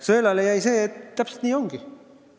Sõelale jäi see, et täpselt nii ongi.